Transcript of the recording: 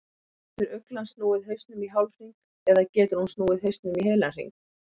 Getur uglan snúið hausnum í hálfhring eða getur hún snúið hausnum í heilan hring?